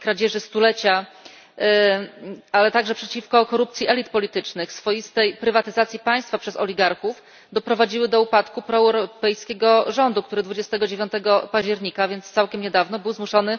kradzieży stulecia, ale także przeciwko korupcji elit politycznych, swoistej prywatyzacji państwa przez oligarchów doprowadziły do upadku proeuropejskiego rządu, który 29 października, więc całkiem niedawno, był zmuszony